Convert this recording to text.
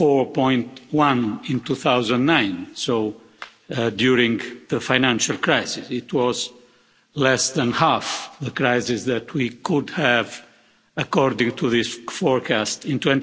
4.1 in 2009, so during the financial crisis it was less than half the crisis that we could have according to this forecast in